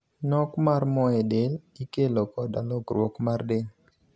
Nok mar mooe del ikelo koda lokruok mar del.